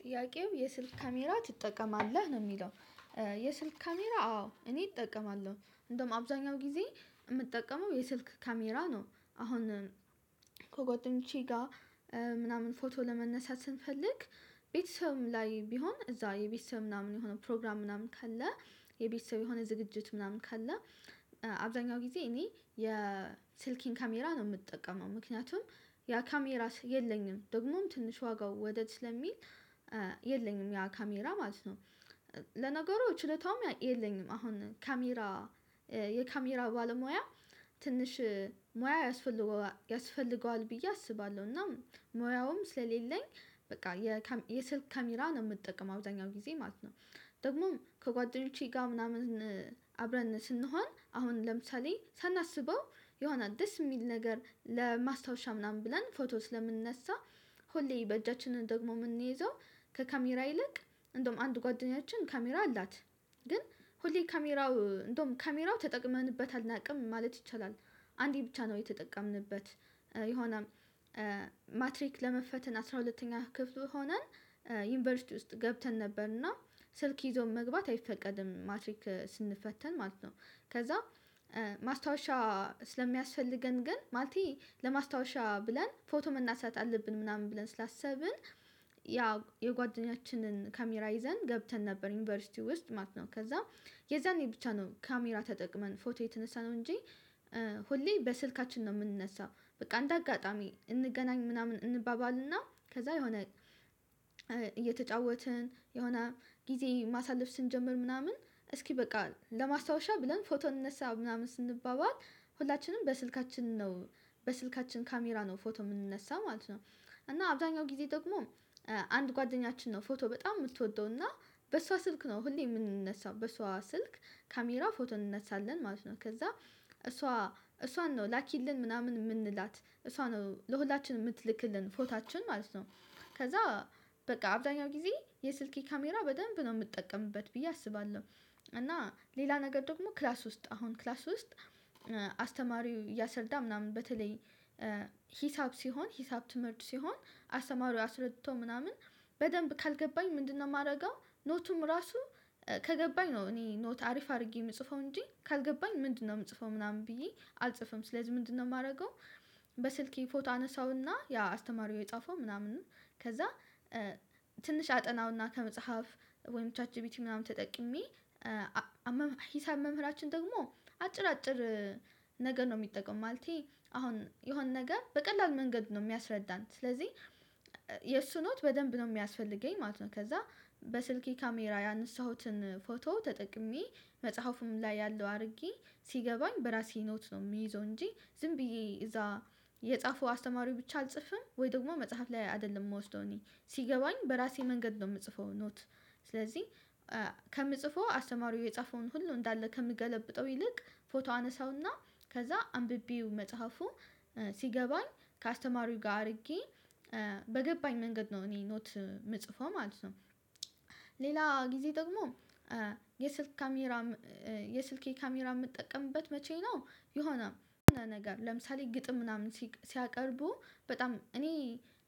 ጥያቄው የስልክ ካሜራ ትጠቀማለህ ነው የሚለው? የስልክ ካሜራ አዎ እኔ እጠቀማለሁ እንደውም አብዛኛው ጊዜ የምጠቀመው የስልክ ካሜራ ነው። አሁን ከጎደኞቼ ጋር ምናምን ፎቶ ለመነሳት ስንፈልግ። ቤተሰብም ላይ ቢሆን እዚያ የቤተሰብ ምናምን የሆነ ፕሮግራም ምናምን ካለ የቤተሰብ የሆነ ዝግጅት ምናምን ካለ አብዛኛው ጊዜ እኔ የስልክን ካሜራ ነው የምጠቀመው ምክንያቱም ያ ካሜራ የለኝም ደግሞም ትንሽ ዋጋው ወደድ ስለሚል የለኝም ያ ካሜራ ማለት ነው። ለነገሩ ችለታውም የለኝም አሁን ካሜራ የካሜራ ባለሙያ ትንሽ ሙያ ያስፈልገዋል ያስፈልገዋል ብዬ አስባለሁ እና ሞያውም ስለሌለኝ በቃ የካ የስልክ ካሜራ ነው የምጠቀም አብዛኛው ጊዜ ማለት ነው። ደግሞም ከጓደኞቼ ጋር ምናምን አብረን ስንሆን አሁን ለምሳሌ ሳናስበው የሆነ ደስ የሚል ነገር ለማስታወሻ ምናምን ብለን ፎቶ ስለምንነሳ ሆሌ በእጃችን ደግሞ የምንይዘው ከካሜራ ይልቅ እንደውም አንድ ጓደኛችን ካሜራ አላት ግን ሆሌ ካሜራው እንደውም ካሜራው ተጠቅመንበት አናውቅም ማለት ይቻላል። አንዴ ብቻ ነው የተጠቀምንበት የሆነም ማትሪክ ለመፈተን አስራ ሁለተኛ ክፍል ሆነን ዩኒቨርሲቲ ውስጥ ገብተን ነበርና ስልክ ይዞ መግባት አይፈቀድም ማትሪክ ስንፈተን ማለት ነው። ከዚያ ማስታወሻ ስለሚያስፈልገን ግን ማለቴ ለማስታወሻ ብለን ፎቶ መናሳት አለብን ምናምን ብለን ስላሰብን ያ የጓደኛችንን ካሜራ ይዘን ገብተን ነበር ዩኒቨርሲቲ ውስጥ ማለት ነው ከዚያ የዛኔ ብቻ ነው ካሜራ ተጠቅመን ፎቶ የተነሳ ነው እንጂ። ሁሌ በስልካችን ነው የምንነሳው በቃ እንደ አጋጣሚ እንገናኝ ምናምን እንባባልና ከዚያ የሆነ እየተጫወትን የሆነ ጊዜ ማሳለፍ ስንጀምር ምናምን እስኪ በቃ ለማስታወሻ ብለን ፎቶ እንነሳ ምናምን ስንባባል ሁላችንም በስልካችን ነው በስልካችን ካሜራ ነው ፎቶ የምንነሳ ማለት ነው። እና አብዛኛው ጊዜ ደግሞ አንድ ጓደኛችን ነው ፎቶ በጣም የምትወደው እና በሷ ስልክ ነው ሁሌ የምንነሳው በሷ ስልክ ካሜራው ፎቶ እንነሳለን ማለት ነው ከዚያ እሷ እሷን ነው ላኪልን ምናምን የምንላት እሷ ነው ለሁላችንም የምትልክልን ፎታችን ማለት ነው። ከዚያ በቃ አብዛኛው ጊዜ የስልኬ ካሜራ በደንብ ነው የምጠቀምበት ብዬ አስባለሁ። እና ሌላ ነገር ደግሞ ክላስ ውስጥ አሁን ክላስ ውስጥ አስተማሪው እያስርዳ ምናምን በተለይ ሂሳብ ሲሆን ሂሳብ ትምህርት ሲሆን አስተማሪው አስረድቶ ምናምን በደንብ ካልገባኝ ምንድነው የማደርገው ኖቱም ራሱ ከገባኝ ነው እኔ ኖት አሪፍ አድርጌ የምጽፈው እንጂ ካልገባኝ ምንድነው የምጽፈው ምናምን ብዬ አልጽፍም ስለዚህ ምንድነው የማደርገው? በስልኬ ፎቶ አነሳውና ያ አስተማሪው የጻፈው ምናምን ከዚያ ትንሽ አጠናውና ከመጽሐፍ ወይም ቻት ጂቢቲ ምናምን ተጠቂሜ ሂሳብ መምህራችን ደግሞ አጭር አጭር ነገር ነው የሚጠቀም ማለቴ አሁን የሆነ ነገር በቀላሉ መንገድ ነው የሚያስረዳን ስለዚህ የእሱ ኖት በደንብ ነው የሚያስፈልገኝ ማለት ነው። ከዚያ በስልኬ ካሜራ ያነሳሁትን ፎቶ ተጠቅሜ መጽሐፉም ላይ ያለው አድርጌ ሲገባኝ በራሴ ኖት ነው የሚይዘው እንጂ ዝም ብዬ እዚያ የጻፈው አስተማሪው ብቻ አልጽፍም ወይ ደግሞ መጽሐፍ ላይ አይደለም መውሰደው እኔ ሲገባኝ በራሴ መንገድ ነው የምጽፈው ኖት ስለዚህ ከምጽፈው አስተማሪው የጻፈውን ሁሉ እንዳለ ከምገለብጠው ይልቅ ፎቶ አነሳውና ከዚያ አንብቤው መጽሐፉ ሲገባኝ ከአስተማሪው ጋር አድርጌ በገባኝ መንገድ ነው እኔ ኖት የምጽፈው ማለት ነው። ሌላ ጊዜ ደግሞ የስልክ ካሜራ የስልኬ ካሜራ የምጠቀምበት መቼ ነው? የሆነ ነገር ለምሳሌ ግጥም ምናምን ሲያቀርቡ በጣም እኔ